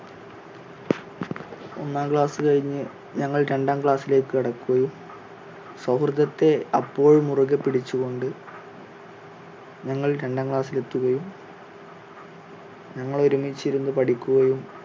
ഒന്നാം class കഴിഞ്ഞ് ഞങ്ങൾ രണ്ടാം class ിലേക്ക് കടക്കുകയും സൗഹൃദത്തെ അപ്പോഴും മുറുകെ പിടിച്ചു കൊണ്ട് ഞങ്ങൾ രണ്ടാം class ൽ എത്തുകയും ഞങ്ങൾ ഒരുമിച്ചിരുന്ന് പഠിക്കുകയും